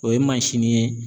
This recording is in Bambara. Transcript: O ye ye